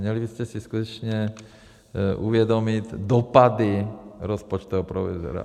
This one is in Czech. Měli byste si skutečně uvědomit dopady rozpočtového provizoria.